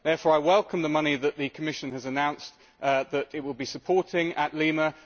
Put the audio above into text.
Therefore, I welcome the money that the Commission has announced that it will be supporting at Lima.